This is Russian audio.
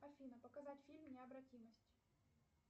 афина показать фильм необратимость